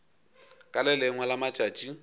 ka le lengwe la matšatši